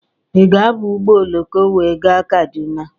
Ị ga-aba ụgbọ oloko wee gaa Kaduna?